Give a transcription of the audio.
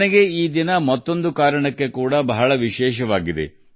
ನನಗೆ ಈ ದಿನ ಬಹಳ ವಿಶೇಷ ದಿನವಾಗಿದೆ